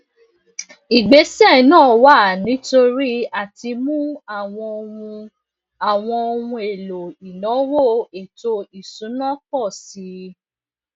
ìgbésẹ náà wá nítorí àtimú àwọn ohun àwọn ohun èlò ìnáwó ètò ìsúná pọ sí i